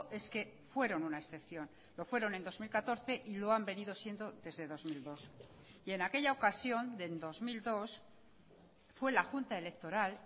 es que fueron una excepción lo fueron en dos mil catorce y lo han venido siendo desde dos mil dos y en aquella ocasión del dos mil dos fue la junta electoral